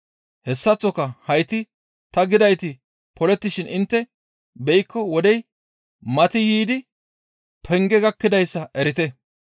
Hessaththoka hayti ta gidayti polettishin intte beykko wodey mati yiidi penge gakkidayssa erite.